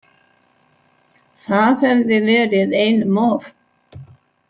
Það hefði verið einum of.